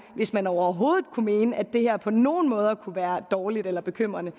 hvis man overhovedet kunne mene at det her på nogen måde kunne være dårligt eller bekymrende